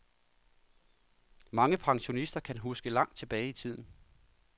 Mange pensionister kan huske langt tilbage i tiden.